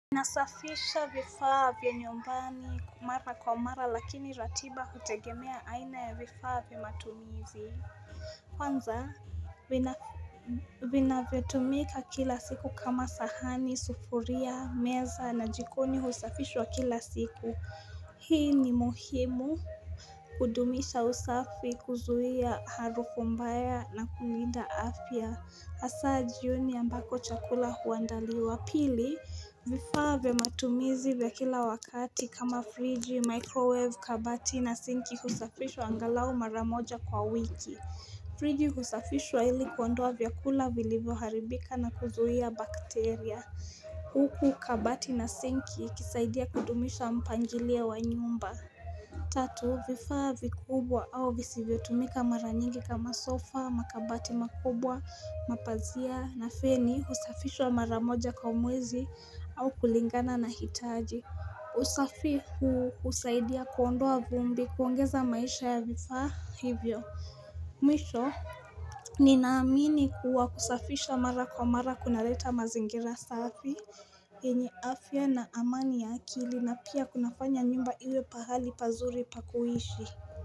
Nasafisha vifaa vya nyumbani mara kwa mara lakini ratiba hutegemea aina ya vifaa vya matumizi Kwanza vinavyotumika kila siku kama sahani, sufuria, meza na jikoni husafishwa kila siku hii ni muhimu kudumisha usafi kuzuia harufu mbaya na kulinda afya hasaa jioni ambako chakula huandaliwa pili vifaa vya matumizi vya kila wakati kama friji, microwave, kabati na sinki husafishwa angalau mara moja kwa wiki Frigi husafishwa ili kuondoa vyakula vilivyo haribika na kuzuhia bakteria Uku kabati na sinki ikisaidia kudumisha mpangilio wa nyumba Tatu vifaa vikubwa au visivyo tumika mara nyingi kama sofa, makabati makubwa, mapazia na feni husafishwa mara moja kwa mwezi au kulingana na hitaji usafi huu husaidia kuondoa vumbi kuongeza maisha ya vifaa hivyo Mwisho Ninaamini kuwa kusafisha mara kwa mara kuna leta mazingira safi yenye afya na amani ya akili na pia kunafanya nyumba ilo pahali pazuri pa kuishi.